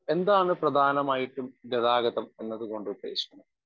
Speaker 1 എന്താണ് പ്രധാനമായിട്ടും ഗതാഗതം എന്നതുകൊണ്ടുദ്ദേശിക്കുന്നത്?